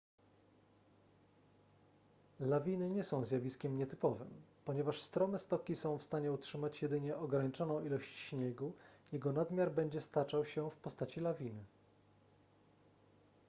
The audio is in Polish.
lawiny nie są zjawiskiem nietypowym ponieważ strome stoki są w stanie utrzymać jedynie ograniczoną ilość śniegu jego nadmiar będzie staczał się w postaci lawiny